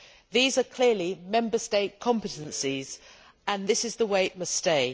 These are clearly Member State competences, and this is the way it must stay.